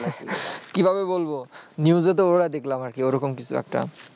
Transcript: কি ভাবে বলবো news এ তো ওটাই দেখলাম আর কি, ওরকম কিছু একটা